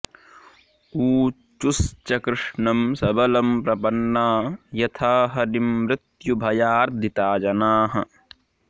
ऊचुश्च कृष्णं सबलं प्रपन्ना यथा हरिं मृत्युभयार्दिता जनाः